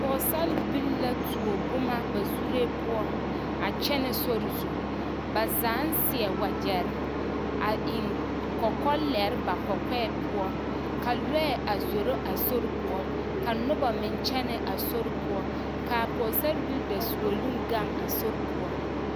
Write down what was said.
Pɔɔsarbilii la a tuo boma ba zuree poɔ a kyɛnɛ sori zu ba zaa seɛ waɡyɛr a eŋ kɔkɔlɛre ba kɔkɔɛ poɔ ka lɔɛ a zoro a soe poɔ ka noba meŋ kyɛnɛ a sori poɔ ka a pɔɔsarbilii dasuoloŋ ɡaŋe a sori poɔ.